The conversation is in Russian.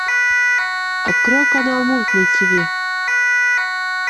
открой канал мульт на тиви